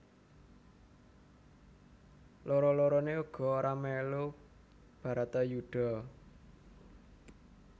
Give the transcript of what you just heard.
Loro loroné uga ora melu Bharatayuddha